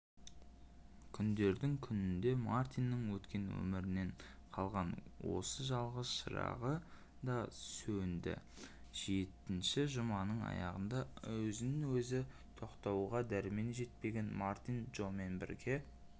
күндердің күнінде мартиннің өткен өмірінен қалған осы жалғыз шырағы да сөнді жетінші жұманың аяғында өзін-өзі тоқтатуға дәрмені жетпеген мартин джомен бірге